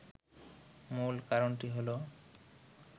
মূল কারণটি হল